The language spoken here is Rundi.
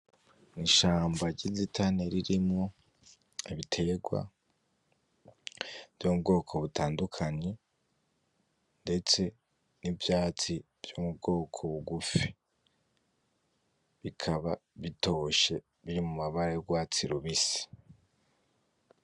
Ishamba ryinzitane ririmwo ibitegwa, vyo mubwoko butandukanye ndetse nivyatsi vyo mubwoko bugufi. bikaba bitoshe biri mumabara y'urwatsi rubisi.